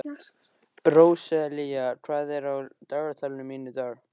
Róselía, hvað er á dagatalinu mínu í dag?